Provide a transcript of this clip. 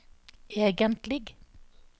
egentlig